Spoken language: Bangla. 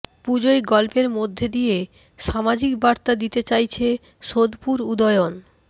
পুজোয় গল্পের মধ্যে দিয়ে সামাজিক বার্তা দিতে চাইছে সােদপুর উদয়ন